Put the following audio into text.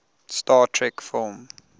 star trek film